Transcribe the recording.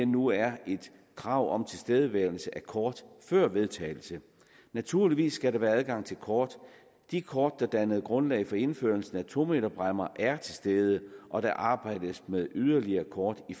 nu er et krav om tilstedeværelse af kort før vedtagelsen naturligvis skal der være adgang til kort de kort der dannede grundlag for indførelsen af to meterbræmmer er til stede og der arbejdes med yderligere kort i